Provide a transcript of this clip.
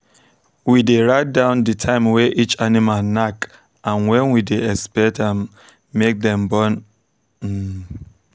we dey write down the time way each animal knack and when we dey expect um make dem born. um